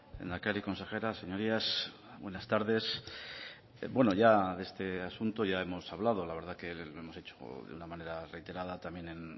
lehendakari consejera señorías buenas tardes bueno ya de este asunto ya hemos hablado la verdad que lo hemos hecho de una manera reiterada también en